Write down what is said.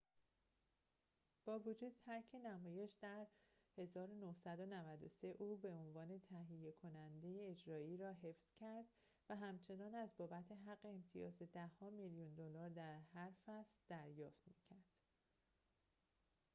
با وجود ترک نمایش در ۱۹۹۳ او عنوان تهیه کننده اجرایی را حفظ کرد و همچنان از بابت حق امتیاز ده‌ها میلیون دلار در هر فصل دریافت می‌کرد